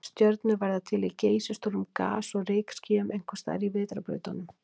Stjörnur verða til í geysistórum gas- og rykskýjum, einhvers staðar í vetrarbrautunum.